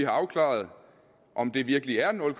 afklaret om det virkelig er nul